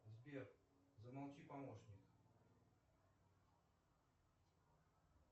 сбер замолчи помощник